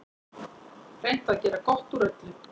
Reynt að gera gott úr öllu.